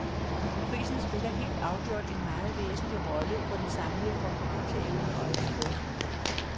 Prisen spiller helt afgjort en meget væsentlig rolle for den samlede konkurrenceevne og eksport.